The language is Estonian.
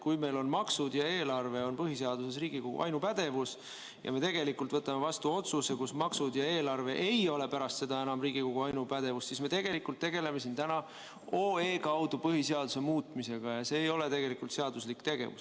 Kui meil on maksud ja eelarve põhiseaduse järgi Riigikogu ainupädevuses ja me võtame vastu otsuse, et maksud ja eelarve ei ole enam Riigikogu ainupädevuses, siis me tegelikult tegeleme siin täna otsuse eelnõu kaudu põhiseaduse muutmisega ja see ei ole seaduslik tegevus.